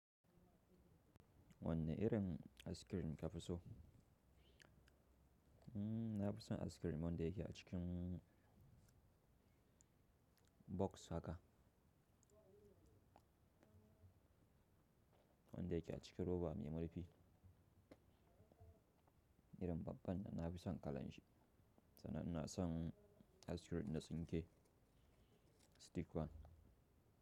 Wanne irin askirin ka fi so? Na fi son askirin wanda yake a cikin box haka, wanda yake a cikin roba me murfi. Irin babban nan, na fi son kalan shi, sannan ina son askirin na tsinke, stick one.